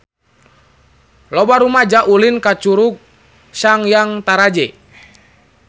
Loba rumaja ulin ka Curug Sanghyang Taraje